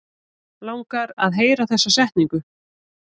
Langar að heyra þessa setningu.